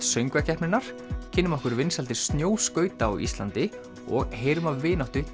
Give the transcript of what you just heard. söngvakeppninnar kynnum okkur vinsældir snjóskauta á Íslandi og heyrum af vináttu